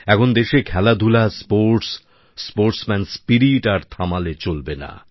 এখন দেশে খেলাধুলা স্পোর্টস স্পোর্টসম্যান স্পিরিট আর থামালে চলবে না